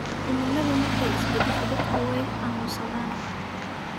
Cimilada markay isbadasho dadku way xanunsadhan.